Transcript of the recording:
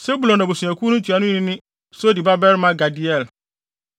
Sebulon abusuakuw no ntuanoni ne Sodi babarima Gadiel;